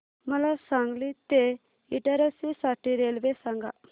मला सांगली ते इटारसी साठी रेल्वे सांगा